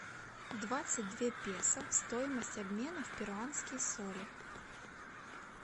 двадцать две песо стоимость обмена в перуанские соли